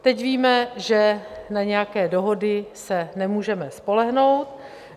Teď víme, že na nějaké dohody se nemůžeme spolehnout.